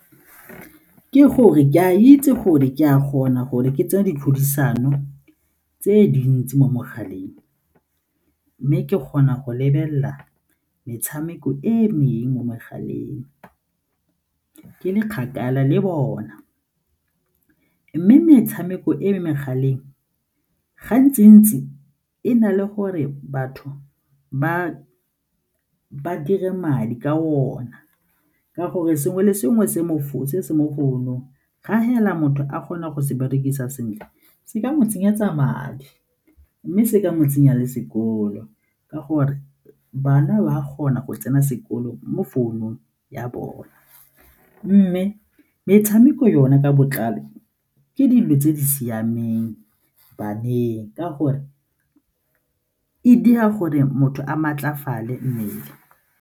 Ke gore ke a itse gore ke a kgona gore ke tseye diphadisano tse dintsi mo mogaleng mme ke kgona go lebelela metshameko e mengwe mo megaleng ke le kgakala le bona mme metshameko e megaleng gantsi-ntsi e na le gore batho ba dire madi ka ona ka gore sengwe le sengwe se se mo founung ga fela motho a kgona go se berekisa sentle se ka mo tsenyetsa madi mme se ka mo tsenya le sekolo ka gore bana ba kgona go tsena sekolo mo founung ya bone. Mme metshameko yone ka botlalo ke dilo tse di siameng baneng ka gore e dira gore motho a maatlafale mmele.